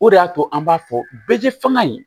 O de y'a to an b'a fɔ bɛɛ tɛ fanga ye